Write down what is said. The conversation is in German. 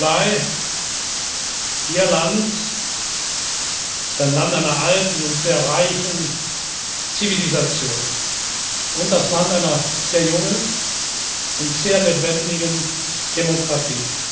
Die Mongolei, Ihr Land, ist ein Land einer alten und sehr reichen Zivilisation und das Land einer sehr jungen und sehr lebendigen Demokratie.